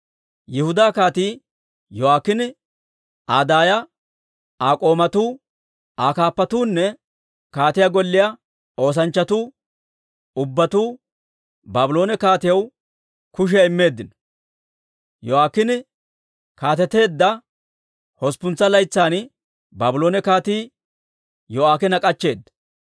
Yihudaa Kaatii Yo'aakiine, Aa daaya, Aa k'oomatuu, Aa kaappatuunne kaatiyaa golliyaa oosanchchatuu ubbatuu Baabloone kaatiyaw kushiyaa immeeddino. Yo'aakiine kaateteedda hosppuntsa laytsan, Baabloone kaatii Yo'aakiina k'achcheeda.